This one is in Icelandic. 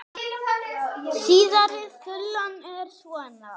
Síðari þulan er svona